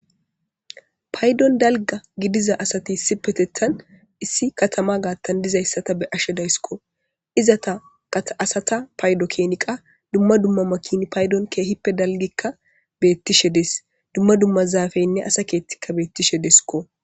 Paydon dalga gidiza asati si petettan issi katama gaattan dizayssata be ashe dayssikko iza ta asata paydo keeniqa dumma dumma makin paydon keehippe dalgikka beettishe dees dumma dumma zaafeynne asa keettikka beettishe desikko.